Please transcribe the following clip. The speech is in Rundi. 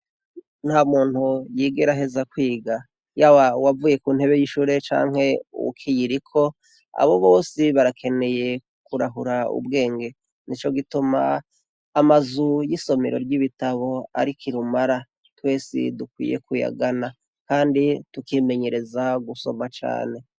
Ntamuntu yigera aheza kwiga. Yaba uwavuye ku ntebe y'ishure canke uwukiyiriko, abo bose barakeneye kurahura ubwenge. Nico gituma amazu y'isomero ry'ibitabo ari kirumara, twese dukwiye kuyagana. Kandi tukimenyereza gusoma cane.